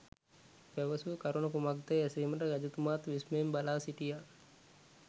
පැවසූ කරුණ කුමක්දැයි ඇසීමට රජතුමාත් විස්මයෙන් බලා සිටියා.